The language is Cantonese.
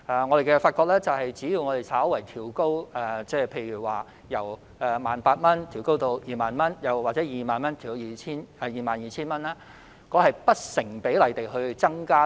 我們發覺，只要稍為調高上限，例如由 18,000 元調高至 20,000 元，又或 20,000 元調高至 22,000 元，便會不成比例地增加整體開支。